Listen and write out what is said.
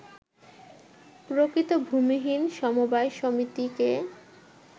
প্রকৃত ভূমিহীন সমবায় সমিতিকে